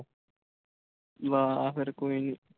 ਬਸ ਫਿਰ ਕੋਈ ਨੀ